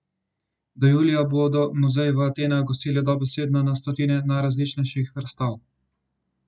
Do julija bodo muzeji v Atenah gostili dobesedno na stotine najrazličnejših razstav.